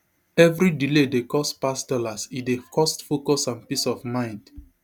evri delay dey cost pass dollars e dey cost focus and peace of mind